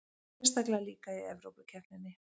Sérstaklega líka í Evrópukeppninni.